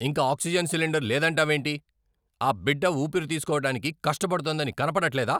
ఇంక oxygen cylinder లేదంటావేంటి? ఆ బిడ్డ ఊపిరి తీస్కోవటానికి కష్టపడుతోందని కనపడట్లేదా?